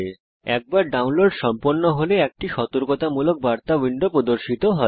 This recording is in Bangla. একবার ডাউনলোড সম্পন্ন হলে একটি সতর্কতামূলক বার্তা উইন্ডো প্রদর্শিত হয়